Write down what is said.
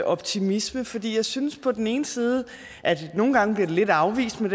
optimisme fordi jeg synes på den ene side nogle gange bliver lidt afvist men